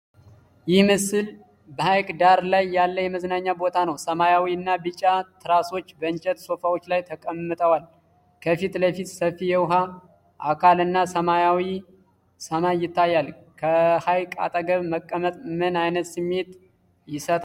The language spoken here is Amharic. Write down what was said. ይህ ምስል በሐይቅ ዳር ያለ የመዝናኛ ቦታ ነው። ሰማያዊ እና ቢጫ ትራሶች በእንጨት ሶፋዎች ላይ ተቀምጠዋል። ከፊት ለፊት ሰፊ የውኃ አካል እና ሰማያዊ ሰማይ ይታያል። ከሐይቅ አጠገብ መቀመጥ ምን አይነት ስሜት ይሰጣል?